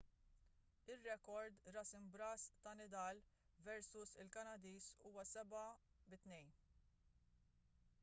ir-rekord ras imb'ras ta' nadal versu l-kanadiż huwa 7-2